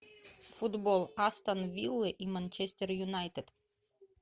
футбол астон виллы и манчестер юнайтед